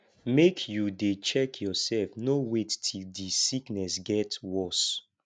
make you dey check yoursef no wait till di sickness get worse